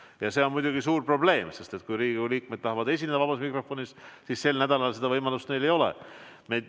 Ja see on muidugi suur probleem, sest kui Riigikogu liikmed tahavad esineda vabas mikrofonis, siis sel nädalal seda võimalust neil ei ole.